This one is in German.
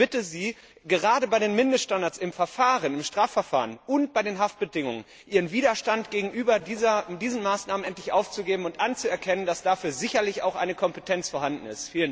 Und ich bitte Sie, gerade bei den Mindeststandards im Strafverfahren und bei den Haftbedingungen Ihren Widerstand gegenüber diesen Maßnahmen endlich aufzugeben und anzuerkennen, dass dafür sicherlich auch eine Kompetenz vorhanden ist.